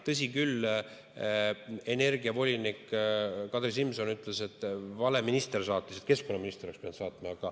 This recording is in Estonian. Tõsi küll, energiavolinik Kadri Simson ütles, et vale minister saatis, et keskkonnaminister oleks pidanud saatma.